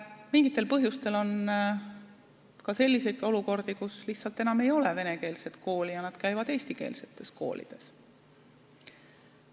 Mingitel põhjustel on ka selliseid olukordi, kus lihtsalt enam ei ole venekeelset kooli ja nad käivad eestikeelses koolis.